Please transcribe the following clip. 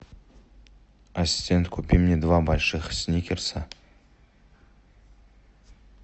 ассистент купи мне два больших сникерса